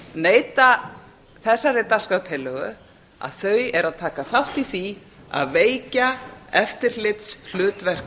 neita þessari dagskrártillögu að þau eru að taka þátt í því að veikja eftirlitshlutverk